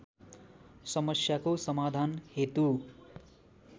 समस्याको समाधान हेतु